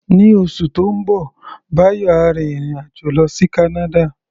Ní oṣù tó ń bọ̀, Báyọ̀ á rin ìrìn-àjò lọ sí Canada.